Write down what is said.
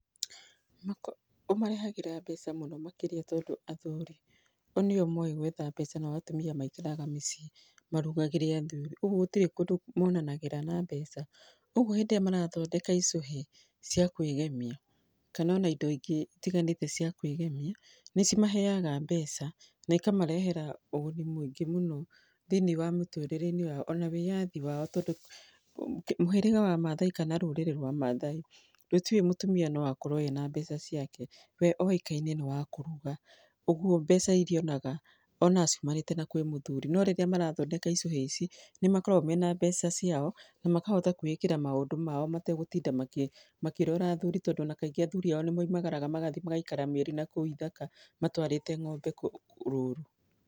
Ũmarehagĩra mbeca mũno makĩria tondũ athuri o nĩo moĩ gwetha mbeca nao atumia maikaraga mĩciĩ marugagĩre athuri, ũguo gũtirĩ kũndũ monanagĩra na mbeca. Ũguo hĩndĩ ĩrĩa marathondeka icũhĩ cia kwĩgemia kana ona indo ingĩ itiganĩte cia kwĩgemia, nĩ cimaheaga mbeca na ikamarehera ũguni mũingĩ mũno thĩinĩ wa mũtũrĩre-inĩ wao ona wĩyathi wao. Tondũ mũhĩrĩga wa Maathai kana rũrĩrĩ rwa Maathai rũtiũĩ atĩ mũtumĩa no akorwo ena mbeca ciake. We oĩkaine nĩ wa kũruga, ũguo mbeca irĩa onaga, onaga ciumanĩte na kwĩ mũthuri. No rĩrĩa marathondeka icũhĩ ici nĩ makoragwo mena mbeca ciao na makahota kwĩĩkĩra maũndũ mao mategũtinda makĩrora athuri. Tondũ ona kaingĩ athuri ao nĩ moimagaraga magathiĩ magaikara mĩeri nakũu ithaka matwarite ng'ombe rũru.